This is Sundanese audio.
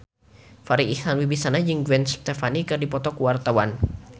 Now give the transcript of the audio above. Farri Icksan Wibisana jeung Gwen Stefani keur dipoto ku wartawan